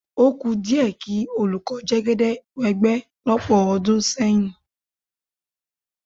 Ó kù díẹ̀ kí olùkọ́ Jẹ́gẹ́dẹ́ wẹ́gbẹ́ lọ́pọ̀ ọdún sẹ́yìn.